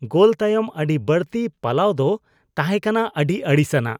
ᱜᱳᱞ ᱛᱟᱭᱚᱢ ᱟᱹᱰᱤ ᱵᱟᱹᱲᱛᱤ ᱯᱟᱞᱟᱣ ᱫᱚ ᱛᱟᱦᱮᱸ ᱠᱟᱱᱟ ᱟᱹᱰᱤ ᱟᱹᱲᱤᱥᱟᱱᱟᱜ ᱾